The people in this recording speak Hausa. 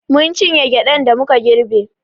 Mun cinye gyaɗan da muka girbe.